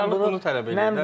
Pəşəgarlıq bunu tələb edir.